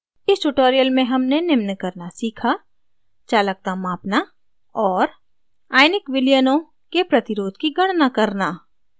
इस tutorial में हमने निम्न करना सीखा: चालकता मापना और आयनिक विलयनों के प्रतिरोध की गणना करना